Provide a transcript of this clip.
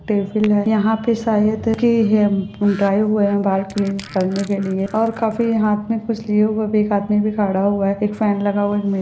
यंहा पे शायद की है ड्राई हुआ है बाल क्लीन करने के लिए और काफी हाँथ मे कुछ लिए हुए आदमी भी खड़ा हुआ है एक फैन लगा हुआ है एक--